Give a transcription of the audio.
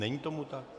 Není tomu tak.